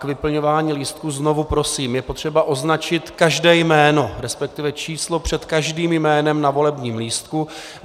K vyplňování lístku: znovu prosím, je potřeba označit každé jméno, respektive číslo před každým jménem na volebním lístku.